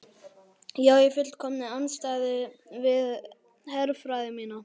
Já í fullkominni andstöðu við herfræði mína.